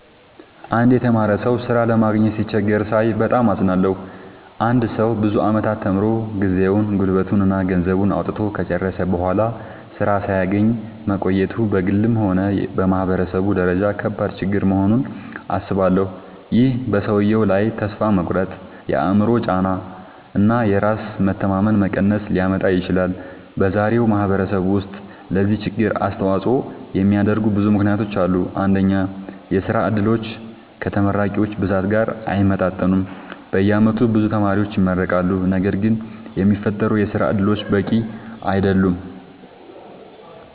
አንድ የተማረ ሰው ሥራ ለማግኘት ሲቸገር ሳይ በጣም አዝናለሁ። አንድ ሰው ብዙ ዓመታት ተምሮ፣ ጊዜውን፣ ጉልበቱን እና ገንዘቡን አውጥቶ ከጨረሰ በኋላ ሥራ ሳያገኝ መቆየቱ በግልም ሆነ በማህበረሰብ ደረጃ ከባድ ችግር መሆኑን አስባለሁ። ይህ በሰውየው ላይ ተስፋ መቁረጥ፣ የአእምሮ ጫና እና የራስ መተማመን መቀነስ ሊያመጣ ይችላል። በዛሬው ማህበረሰብ ውስጥ ለዚህ ችግር አስተዋጽኦ የሚያደርጉ ብዙ ምክንያቶች አሉ። አንደኛ፣ የሥራ ዕድሎች ከተመራቂዎች ብዛት ጋር አይመጣጠኑም። በየዓመቱ ብዙ ተማሪዎች ይመረቃሉ፣ ነገር ግን የሚፈጠሩ የሥራ እድሎች በቂ አይደሉም።